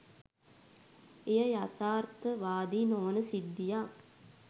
එය යථාර්ථවාදී නොවන සිද්ධියක්